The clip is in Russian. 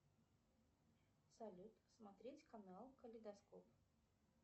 салют смотреть канал калейдоскоп